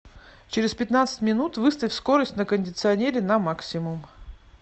через пятнадцать минут выставь скорость на кондиционере на максимум